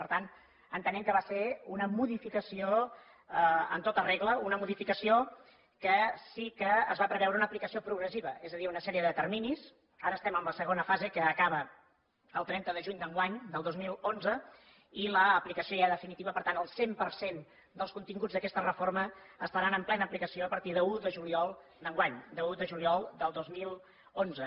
per tant entenem que va ser una modificació en tota regla una modificació de la qual sí que es va preveure una aplicació progressiva és a dir una sèrie de terminis ara estem en la segona fase que acaba el trenta de juny d’enguany del dos mil onze i l’aplicació ja definitiva per tant el cent per cent dels continguts d’aquesta reforma estaran en plena aplicació a partir d’un de juliol d’enguany d’un de juliol del dos mil onze